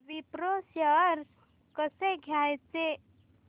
Wipro shares कसे घ्यायचे